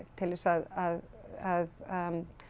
til þess að